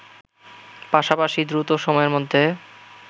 পাশাপাশি দ্রুত সময়ের মধ্যে